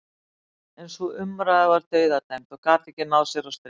En sú umræða var dauðadæmd og gat ekki náð sér á strik.